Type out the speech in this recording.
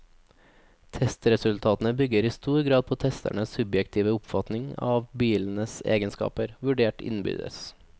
Testresultatene bygger i stor grad på testernes subjektive oppfatning av bilenes egenskaper, vurdert innbyrdes.